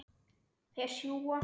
Þeir sjúga.